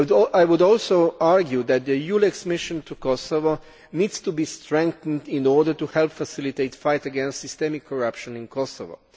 I would also argue that the EULEX mission to Kosovo needs to be strengthened in order to help facilitate the fight against systemic corruption in Kosovo.